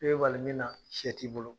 E be bali mun na sɛ t'i bolo